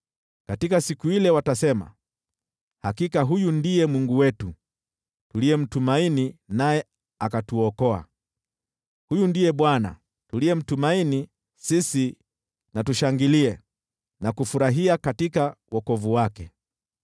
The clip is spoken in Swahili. Katika siku ile watasema, “Hakika huyu ndiye Mungu wetu; tulimtumaini, naye akatuokoa. Huyu ndiye Bwana , tuliyemtumaini; sisi tushangilie na kufurahia katika wokovu wake.”